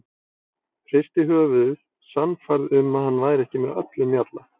Hristi höfuðið, sannfærð um að hann væri ekki með öllum mjalla.